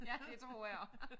Ja det tror jeg også